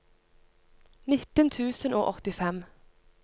nitten tusen og åttifem